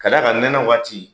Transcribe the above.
Ka d'a kan nɛnɛ waati